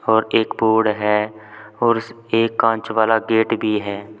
और एक बोर्ड है और इस एक कांच वाला गेट भी है।